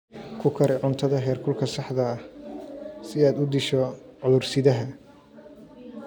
Ku kari cuntada heerkulka saxda ah si aad u disho cudur-sidaha.